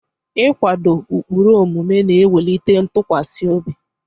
Ịkwado ụkpụrụ omume na-ewulite ntụkwasị obi.